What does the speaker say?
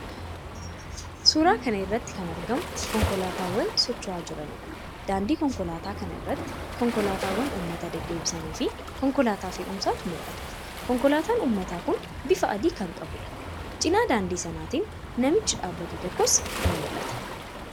Suuraa kana irratti kan argamu konkolaataawwan socho'aa jiraniidha. Daandii konkolaataa kana irratti konkolaataawwan uummata deddeebisaniifi konkolaataa fe'umsaaa ni mul'ata. Konkolaataan uummataa kun bifa adii kan qabuudha. Cina daandii sanaatiin namichi dhaabbatu tokkos ni mul'ata.